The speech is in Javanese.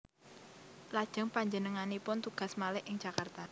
Lajeng panjenenganipun tugas malih ing Jakarta